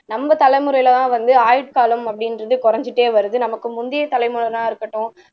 நம்ம தலைமுறையிலதான் வந்து ஆயுட்காலம் அப்படின்றது குறைஞ்சிட்டே வருது நமக்கு முந்தைய தலைமுறையினரா இருக்கட்டும்